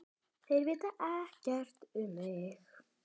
Þeir vita ekkert um mig.